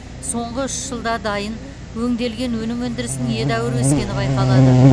соңғы үш жылда дайын өңделген өнім өндірісінің едәуір өскені байқалады